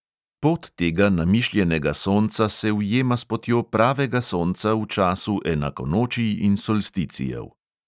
Pot tega namišljenega sonca se ujema s potjo pravega sonca v času enakonočij in solsticijev.